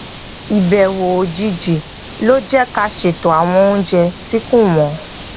ìbèwò òjijì ló jé ká a seto àwọn oúnjẹ tí kò wónwó